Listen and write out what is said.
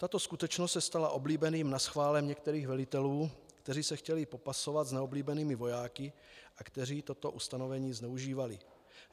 Tato skutečnost se stala oblíbeným naschválem některých velitelů, kteří se chtěli popasovat s neoblíbenými vojáky a kteří toto ustanovení zneužívali.